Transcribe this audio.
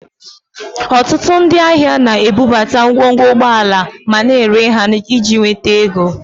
Ọtụtụ ndị ahịa na-ebubata ngwongwo ụgbọala ma na-ere ha iji nweta ego